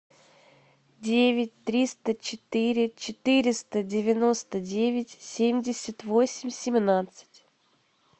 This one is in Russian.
девять триста четыре четыреста девяносто девять семьдесят восемь семнадцать